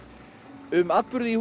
um atburði í húsinu